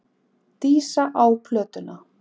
Dísa á plötuna.